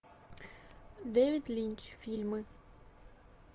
дэвид линч фильмы